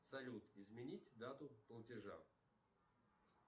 салют изменить дату платежа